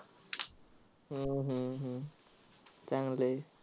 हम्म हम्म हम्म चांगलं आहे.